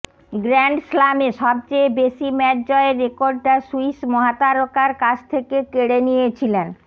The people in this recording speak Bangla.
গ্র্যান্ড স্লামে সবচেয়ে বেশি ম্যাচ জয়ের রেকর্ডটা সুইস মহাতারকার কাছ থেকে কেড়ে নিয়েছিলেন